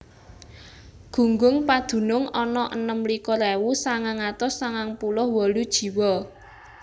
Gunggung padunung ana enem likur ewu sangang atus sangang puluh wolu jiwa